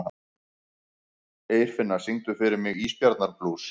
Eirfinna, syngdu fyrir mig „Ísbjarnarblús“.